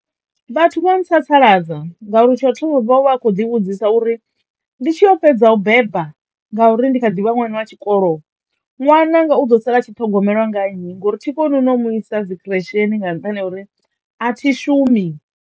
Vhathu vho ntsatsaladza ngauri tsho thoma vho vha vha kho ḓi vhudzisa uri ndi tshi yo fhedza u beba ngauri ndi kha ḓi vha ṅwana wa tshikolo nwananga u ḓo sala tshi ṱhogomelwa nga nnyi ngori thi koni no u mu isa dzi khiresheni nga nṱhani ha uri a thi shumi.